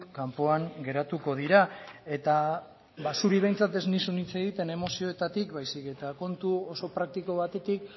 kanpoan geratuko dira eta ba zuri behintzat ez nizun hitz egiten emozioetatik baizik eta kontu oso praktiko batetik